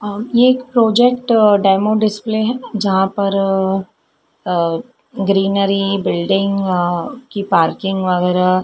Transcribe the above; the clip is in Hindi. और ये एक प्रोजेक्ट डेमो डिस्प्ले है जहां पर ग्रीनरी बिल्डिंग अह की पार्किंग वगेरह--